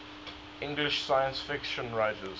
english science fiction writers